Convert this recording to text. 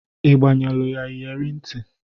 Ị gbanyelu ya iyere ntị?